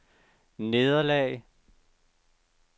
nederlag